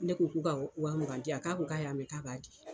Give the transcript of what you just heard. Ne ko k'u ka wa mugan di yan k'a ko k'a y'a mɛn k'a b'a di.